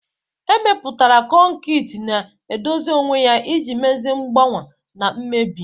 Emepụtara kọnkịtị na-edozi onwe ya iji mezie mgbawa na mmebi..